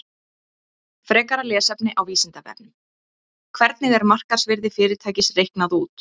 Frekara lesefni á Vísindavefnum: Hvernig er markaðsvirði fyrirtækis reiknað út?